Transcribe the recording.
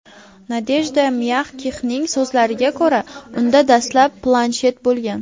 Nadejda Myagkixning so‘zlariga ko‘ra, unda dastlab planshet bo‘lgan.